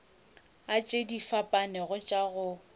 tše di fapanego tša go